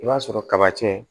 I b'a sɔrɔ kaba c